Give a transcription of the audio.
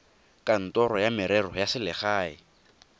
kantorong ya merero ya selegae